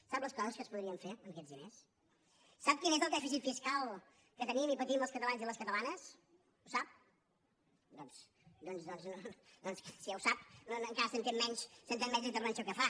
sap les coses que es podrien fer amb aquests diners sap quin és el dèficit fiscal que tenim i patim els catalans i les catalanes ho sap doncs si ja ho sap encara s’entén menys la intervenció que fa